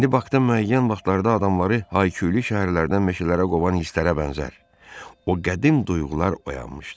İndi Bakda müəyyən vaxtlarda adamları Haykyuli şəhərlərindən meşələrə qovan hisslərə bənzər o qədim duyğular oyanmışdı.